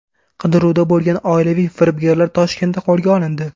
Qidiruvda bo‘lgan oilaviy firibgarlar Toshkentda qo‘lga olindi.